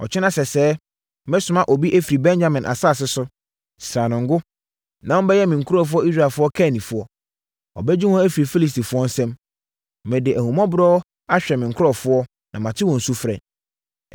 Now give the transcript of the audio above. “Ɔkyena sɛsɛɛ, mɛsoma obi afiri Benyamin asase so. Sra no ngo, na ɔmmɛyɛ me nkurɔfoɔ Israelfoɔ kannifoɔ. Ɔbɛgye wɔn afiri Filistifoɔ nsam. Mede ahummɔborɔ ahwɛ me nkurɔfoɔ, na mate wɔn sufrɛ.”